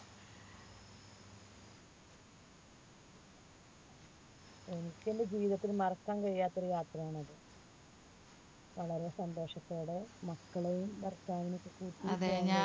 എനിക്ക് എൻറെ ജീവിതത്തിൽ മറക്കാൻ കഴിയാത്ത ഒരു യാത്രയാണ് അന്ന് വളരെ സന്തോഷത്തോടെ മക്കളും ഭർത്താവിനും ഒക്കെ കൂട്ടിയിട്ട്